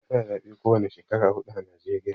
Ana zabe ko wane Shekara hudu ã Najeriya.